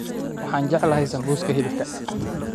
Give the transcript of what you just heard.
Waxaan jeclahay sambuuska hilibka